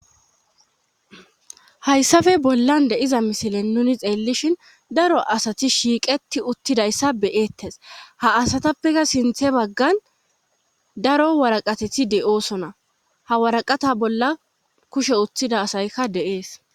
hayssafe bollan de7iza misilen nuni xeellishin daro asati shiiqeti uttidayssa be7eettes ha asatappeka sinthe baggan daro waraqatethi de7oosona ha waraqata bolla kushe uttida asaykka de7ees.